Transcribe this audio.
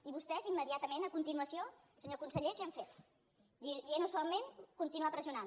i vostès immediatament a continuació senyor conseller què han fet dient ho suaument continuar pressionant